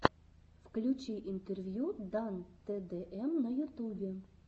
включи интервью дан тэ дэ эм на ютубе